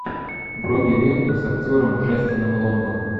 вруби ленту с актером джастином лонгом